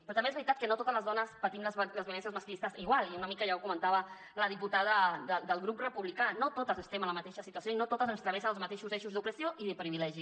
però també és veritat que no totes les dones patim les violències masclistes igual i una mica ja ho comentava la diputada del grup republicà no totes estem en la mateixa situació i no a totes ens travessen els mateixos eixos d’opressió i de privilegi